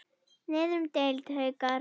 Niður um deild:, Haukar